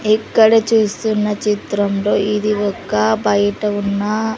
ఇక్కడ చూస్తున్న చిత్రంలో ఇది ఒక బయట ఉన్న --